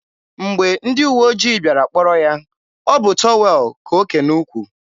mgbe ndị uwe ojii bịara kpọrọ ya, ọ bụ tọwel ka o ke n'ukwu.